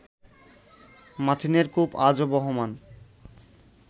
মাথিনের কূপ আজো বহমান